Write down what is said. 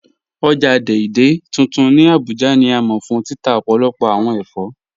Ọ̀já Dei Dei tuntun ni Abuja ni a mọ fun títà ọ̀pọ̀lọ̀pọ̀ awọn èfọ́.